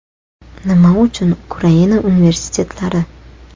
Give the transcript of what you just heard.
Nima uchun Ukraina universitetlari?